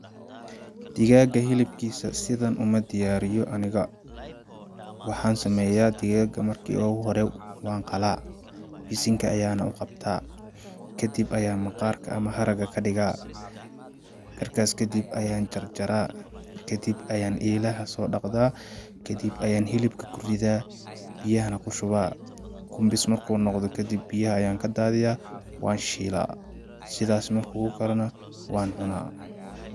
Digaaga hilib kiisa sidan uma diyaariyo aniga ,waxaa sameyaa digaaga markii oogu hore waan qalaa ,bisinka ayaana u qabtaa ,kadib ayaan maqaarka ama haraga ka dhigaa ,markaas kadib ayaan jarjaraa ,kadib ayaa eelaha soo dhaqdaa ,kadib ayaan hilibka ku ridaa ,biyahana ku shubaa ,kumbis markuu noqdo kadib biyaha ayaan ka daadiyaa waan shilaa, sidaas markuu u karano waan cunaa.